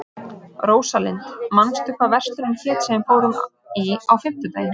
Rósalind, manstu hvað verslunin hét sem við fórum í á fimmtudaginn?